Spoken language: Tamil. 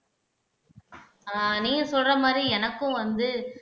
ஆஹ் நீங்க சொல்ற மாறி எனக்கும் வந்து